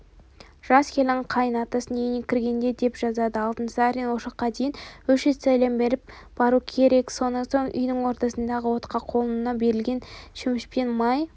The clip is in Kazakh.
жас келін қайын атасының үйіне кіргенде деп жазады алтынсарин ошаққа дейін үш рет сәлем беріп баруы керек сонан соң үйдің ортасындағы отқа қолына берілген шөмішпен май